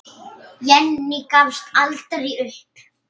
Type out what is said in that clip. Jenný gafst aldrei upp.